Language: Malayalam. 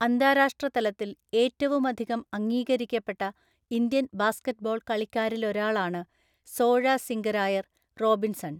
അന്താരാഷ്ട്ര തലത്തിൽ ഏറ്റവുമധികം അംഗീകരിക്കപ്പെട്ട ഇന്ത്യൻ ബാസ്കറ്റ് ബോൾ കളിക്കാരിലൊരാളാണ് സോഴസിംഗരായർ റോബിൻസൺ.